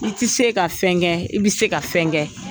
I tɛ se ka fɛn kɛ, i bɛ se ka fɛn kɛ.